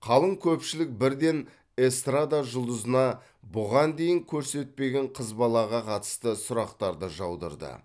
қалың көпшілік бірден эстрада жұлдызына бұған дейін көрсетпеген қыз балаға қатысты сұрақтарды жаудырды